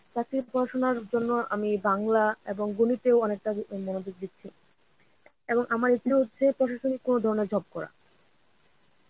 চাকরির পড়াশোনার জন্য আমি বাংলা এবং গনিতেও অনেকটা অ্যাঁ মনোযোগ দিচ্ছি. এবং আমার ইচ্ছে হচ্ছে প্রশাসনিক কোনো ধরনের job করা.